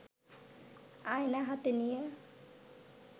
আয়না হাতে নিয়ে